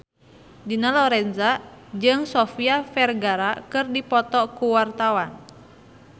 Dina Lorenza jeung Sofia Vergara keur dipoto ku wartawan